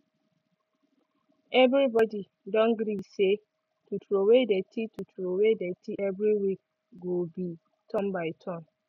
every body don gree say to troway dirty to troway dirty every week go be turn by turn